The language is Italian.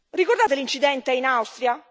Ricordate l'incidente in Austria?